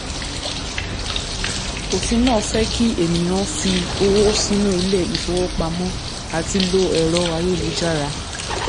òfin náà fẹ́ kí ènìyàn fi owó sínú ilé ìfowópamọ àti lo ẹ̀rọ ayélujára.